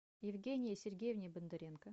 евгении сергеевне бондаренко